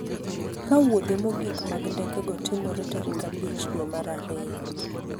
ka wuodhe mogik mag ndekego timore tarik abich dwe mar ariyo